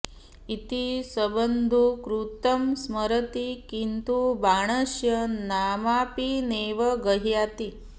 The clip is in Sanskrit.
इति सुबन्धुकृतं स्मरति किन्तु बाणस्य नामापि नैव गह्णाति